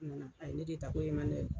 a ye ne de ta ko n ye ye.